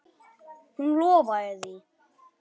Hún lofaði því.